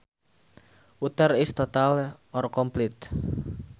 Utter is total or complete